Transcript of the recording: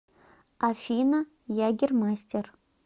афина ягермастер